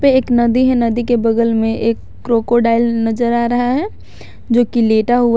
एक नदी है नदी के बगल में एक क्रोकोडाइल नजर आ रहा है जो की लेटा हुआ--